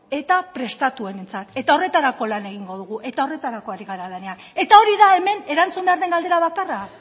eta prestatuenentzat eta horretarako lan egingo dugu eta horretarako ari gara lanean eta hori da hemen erantzun behar den galdera bakarra